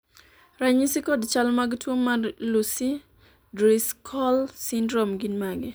ranyisi kod chal mag tuo mar Lucey Driscoll syndrome gin mage?